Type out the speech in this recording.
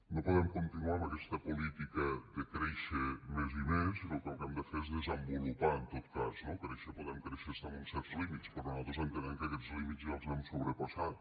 no podem continuar amb aquesta política de créixer més i més sinó que el que hem de fer és desenvolupar en tot cas no créixer podem créixer fins a uns certs límits però nosaltres entenem que aquests límits ja els hem sobrepassat